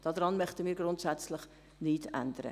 Daran wollen wir grundsätzlich nichts ändern.